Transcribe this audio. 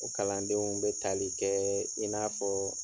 O kalandenw bɛ tali kɛ in n'a fɔ.